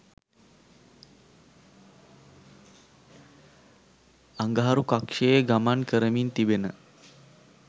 අඟහරු කක්ෂයේ ගමන් කරමින් තිබෙන